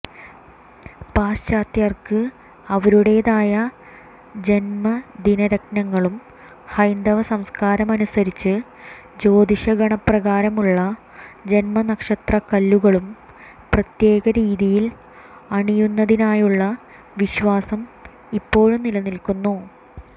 പാശ്ചാത്യർക്ക് അവരുടേതായ ജന്മദിനരത്നങ്ങളും ഹൈന്ദവ സംസ്കാരമനുസരിച്ച് ജ്യോതിഷഗണനപ്രകാരമുള്ള ജന്മനക്ഷത്രക്കല്ലുകളും പ്രത്യേക രീതിയിൽ അണിയുന്നതിനായുള്ള വിശ്വാസം ഇപ്പോഴും നിലനിൽക്കുന്നു